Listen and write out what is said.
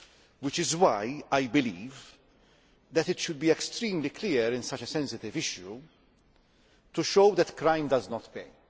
This is why I believe that it should be made extremely clear in such a sensitive issue that crime does not pay.